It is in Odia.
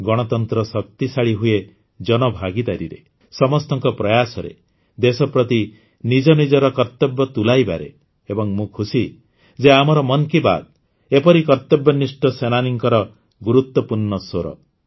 ଗଣତନ୍ତ୍ର ଶକ୍ତିଶାଳୀ ହୁଏ ଜନଭାଗିଦାରୀରେ ସମସ୍ତଙ୍କ ପ୍ରୟାସରେ ଦେଶ ପ୍ରତି ନିଜନିଜର କର୍ତବ୍ୟ ତୁଲାଇବାରେ ଏବଂ ମୁଁ ଖୁସି ଯେ ଆମର ମନ୍ କୀ ବାତ୍ ଏପରି କର୍ତବ୍ୟନିଷ୍ଠ ସେନାନୀଙ୍କର ଗୁରୁତ୍ୱପୂର୍ଣ୍ଣ ସ୍ୱର